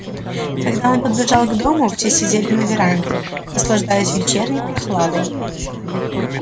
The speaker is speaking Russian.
когда он подбежал к дому все сидели на веранде наслаждаясь вечерней прохладой